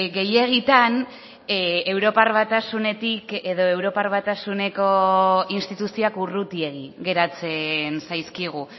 gehiegitan europar batasunetik edo europar batasuneko instituzioak urrutiegi geratzen zaizkigu